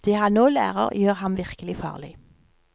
Det han nå lærer, gjør ham virkelig farlig.